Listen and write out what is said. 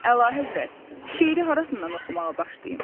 Əlahəzrət, şeiri harasından oxumağa başlayım?